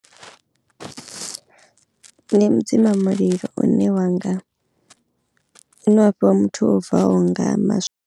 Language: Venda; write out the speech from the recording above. Ndi mudzima mulilo une wanga hune wa fhiwa muthu o bvaho nga maswa.